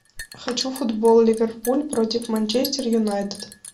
хочу футбол ливерпуль против манчестер юнайтед